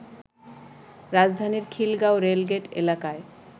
রাজধানীর খিলগাঁও রেলগেট এলাকায়